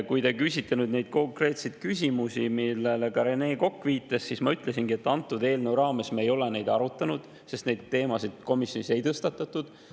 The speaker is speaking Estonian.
Kui te küsite nende konkreetsete küsimuste kohta, millele ka Rene Kokk viitas, siis ma ütlesingi, et antud eelnõu raames me ei ole neid arutanud, sest neid teemasid komisjonis ei tõstatatud.